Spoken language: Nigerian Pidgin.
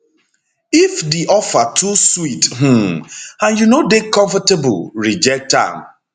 if di offer too sweet um and you no dey comfortable reject am